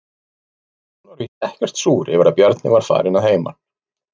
Hún var víst ekkert súr yfir að Bjarni var farinn að heiman.